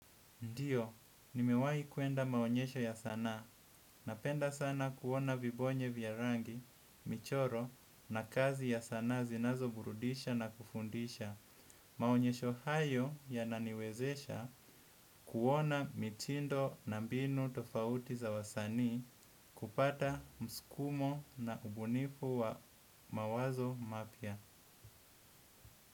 Ndiyo, nimewai kuenda maonyesho ya sanaa. Napenda sanaa kuona vibonye vya rangi, michoro na kazi ya sanaa zinazo burudisha na kufundisha. Maonyesho hayo yananiwezesha kuona mitindo na mbinu tofauti za wasani kupata mskumo na ubunifu wa mawazo mapya.